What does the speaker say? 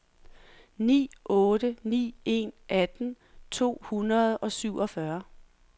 ni otte ni en atten to hundrede og syvogfyrre